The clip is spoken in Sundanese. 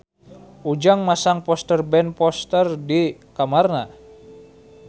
Ujang masang poster Ben Foster di kamarna